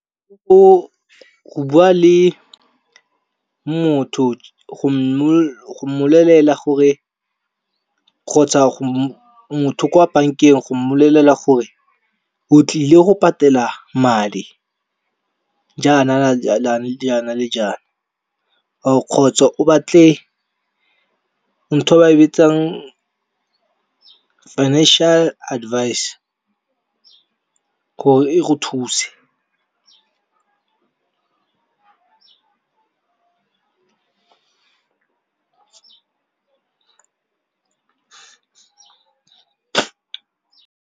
Go bua le motho go mmolelela gore, kgotsa motho kwa bankeng go mmolelela gore o tlile go patela madi. Jaana le jaana or kgotsa o batle ntho e ba e bitsang financial advice gore e go thuse.